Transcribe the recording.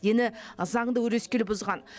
дені заңды өрескел бұзған